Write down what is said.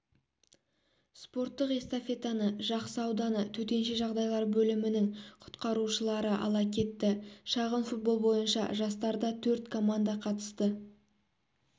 спорттық эстафетаны жақсы ауданы төтенше жағдайлар бөлімінің құтқарушылары ала кетті шағын-футбол бойынша жарыстарда төрт команда қатысты